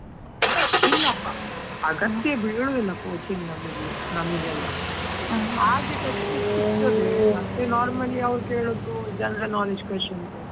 ಇಲ್ಲಪ್ಪಾ ಬೀಳುದಿಲ್ಲ, coaching ನಮಿಗೆ ನಮಿಗೆಲ್ಲಾ text books ಸಿಗ್ತಾದೆ, ಮತ್ತೆ normally ಅವ್ರು ಕೇಳುದು general knowledge questions .